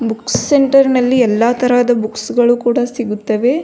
Books centre ನಲ್ಲಿ ಎಲ್ಲ ತರಹದ ಬುಕ್ಕ್ಸ್ ಗಳು ಕೂಡ ಸಿಗುತ್ತವೆ.